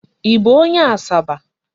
Ị bụ onye Asaba?